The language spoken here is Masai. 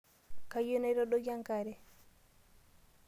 Kayieu naitadoiki enkare.